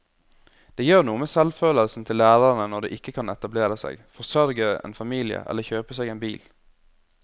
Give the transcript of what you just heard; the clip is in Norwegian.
Det gjør noe med selvfølelsen til lærerne når de ikke kan etablere seg, forsørge en familie eller kjøpe seg en bil.